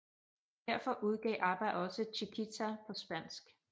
Derfor udgav ABBA også Chiquitita på spansk